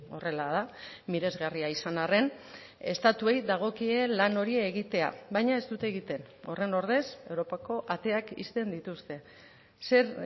horrela da miresgarria izan harren estatuei dagokie lan hori egitea baina ez dute egiten horren ordez europako ateak ixten dituzte zer